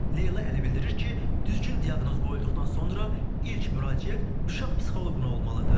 Leyla Əli bildirir ki, düzgün diaqnoz qoyulduqdan sonra ilk müraciət uşaq psixoloquna olmalıdır.